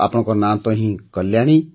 ଆପଣଙ୍କର ତ ନାଁ ହିଁ କଲ୍ୟାଣୀ